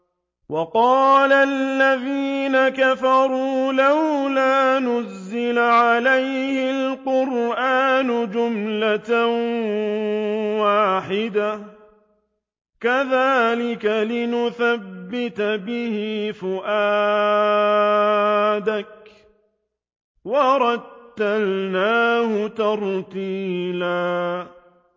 وَقَالَ الَّذِينَ كَفَرُوا لَوْلَا نُزِّلَ عَلَيْهِ الْقُرْآنُ جُمْلَةً وَاحِدَةً ۚ كَذَٰلِكَ لِنُثَبِّتَ بِهِ فُؤَادَكَ ۖ وَرَتَّلْنَاهُ تَرْتِيلًا